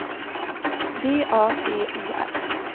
D A T O R